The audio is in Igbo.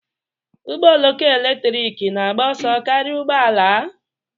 Ụgbọ oloko eletrik na-agba ọsọ karịa ụgbọ ala?